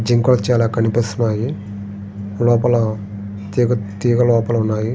జింకలు చాల కనిపిస్తున్నాయి లోపల తీగ తీగ లోపల ఉన్నాయి.